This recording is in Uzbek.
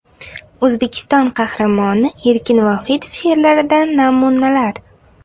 O‘zbekiston Qahramoni Erkin Vohidov she’rlaridan namunalar.